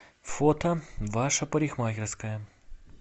фото ваша парикмахерская